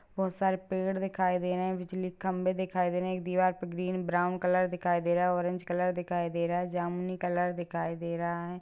बहुत सारे पेड़ दिखाई दे रहे है बिजली के खंभे दिखाई दे रहे है एक दीवार पे ग्रीन ब्राउन कलर दिखिया दे रहा है ऑरेंज कलर दिखिया दे रहा है जमुनी कलर दिखिया दे रहा है ।